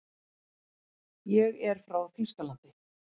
Ég er frá Þýskalandi.